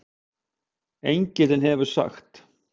Engillinn hefur sagt